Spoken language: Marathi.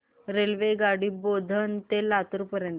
रेल्वेगाडी बोधन ते लातूर पर्यंत